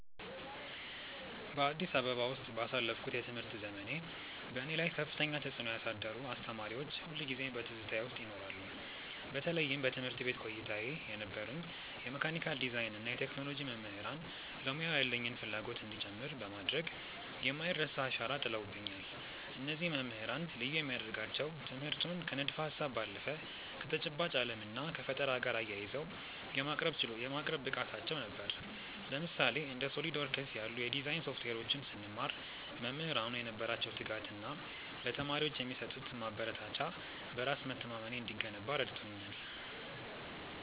በአዲስ አበባ ውስጥ ባሳለፍኩት የትምህርት ዘመኔ፣ በእኔ ላይ ከፍተኛ ተጽዕኖ ያሳደሩ አስተማሪዎች ሁልጊዜም በትዝታዬ ውስጥ ይኖራሉ። በተለይም በትምህርት ቤት ቆይታዬ የነበሩኝ የመካኒካል ዲዛይን እና የቴክኖሎጂ መምህራን ለሙያው ያለኝን ፍላጎት እንዲጨምር በማድረግ የማይረሳ አሻራ ጥለውብኛል። እነዚህ መምህራን ልዩ የሚያደርጋቸው ትምህርቱን ከንድፈ-ሀሳብ ባለፈ ከተጨባጭ ዓለም እና ከፈጠራ ጋር አያይዘው የማቅረብ ብቃታቸው ነበር። ለምሳሌ፣ እንደ SOLIDWORKS ያሉ የዲዛይን ሶፍትዌሮችን ስንማር፣ መምህራኑ የነበራቸው ትጋት እና ለተማሪዎች የሚሰጡት ማበረታቻ በራስ መተማመኔ እንዲገነባ ረድቶኛል።